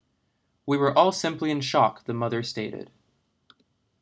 we were all simply in shock the mother stated